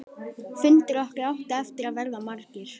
Fundir okkar áttu eftir að verða margir.